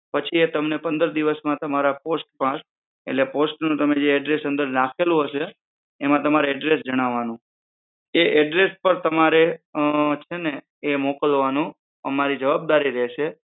પછી એ તમને પંદર દિવસ માં તમારા પોસ્ટ પર એટલે post નું જે તમે address નાખેલું હશે એમાં તમારે address જણાવાનું એ address પર તમારે છે ને એ મોકલવાનો અમારી જવાબદારી રહેશે